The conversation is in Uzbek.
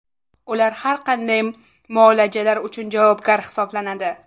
Ular har qanday muolajalar uchun javobgar hisoblanadi.